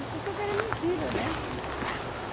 Ele pensou que era mentira, né?